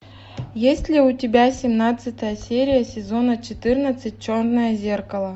есть ли у тебя семнадцатая серия сезона четырнадцать черное зеркало